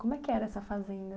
Como é que era essa fazenda?